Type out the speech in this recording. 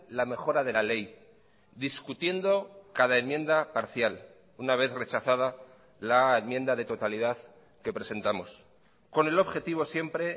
la mejora de la ley discutiendo cada enmienda parcial una vez rechazada la enmienda de totalidad que presentamos con el objetivo siempre